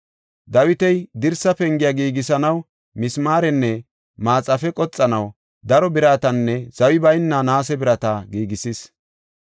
Dawiti, dirsa pengiya giigisanaw misimaarenne maxaafe qoxanaw daro biratanne zawi bayna naase birata giigisis.